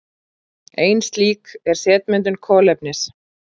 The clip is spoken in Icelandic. Ein slík er setmyndun kolefnis.